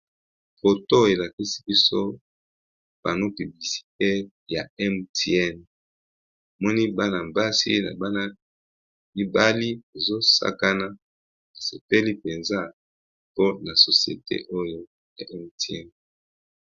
Photo elakisi biso pano publicitaire ya MTN tomoni bana mibali pe basi bazo sakana ba sepeli penza po na société oyo.